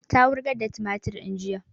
Ta wurgar da tumatur din jiya